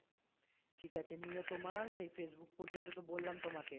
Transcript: ঠিক আছে নিয়ে তোমার সেই facebook পর্যন্ত তো বললাম তোমাকে